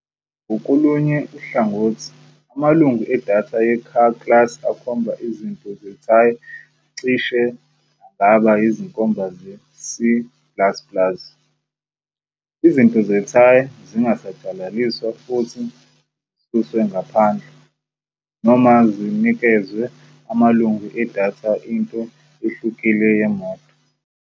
Ngakolunye uhlangothi, amalungu wedatha ye-Car class akhomba izinto zeTire cishe angaba yizinkomba ze-C plus plus. Izinto zeTire zingasatshalaliswa futhi zisuswe ngaphandle, noma zinikezwe amalungu wedatha ento ehlukile yemoto.